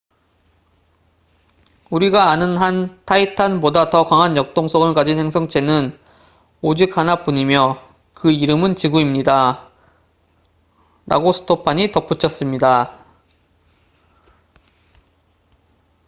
"우리가 아는 한 타이탄titan보다 더 강한 역동성을 가진 행성체는 오직 하나뿐이며 그 이름은 지구입니다""라고 스토판stofan이 덧붙였습니다.